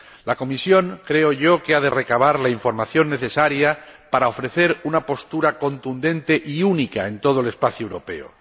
La Comisión —creo yo— ha de recabar la información necesaria para ofrecer una postura contundente y única en todo el espacio europeo.